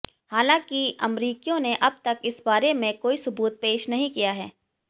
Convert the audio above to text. हालांकि अमरीकियों ने अबतक इस बारे में कोई सुबूत पेश नहीं किया है